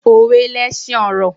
Òwe lẹsin ọ̀rọ̀